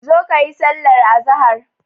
Zo kayi sallar azahar.